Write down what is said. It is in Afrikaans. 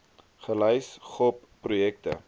gelys gop projekte